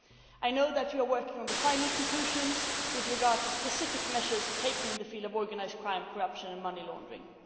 I know that you are working on the final conclusions with regard to specific measures taken in the field of organised crime, corruption and money laundering.